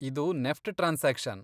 ಇದು NEFT transaction.